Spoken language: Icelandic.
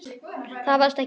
Það varst ekki þú.